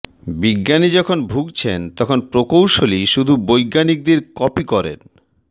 বিজ্ঞানী যখন ভুগছেন তখন প্রকৌশলী শুধু বৈজ্ঞানিকদের কপি করেন